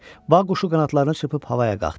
Bağ quşu qanadlarını çırpıb havaya qalxdı.